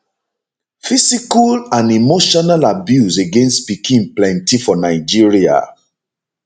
physical and emotional abuse against pikin plenti for nigeria